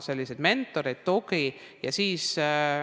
Selleks on mentorid ja tugi.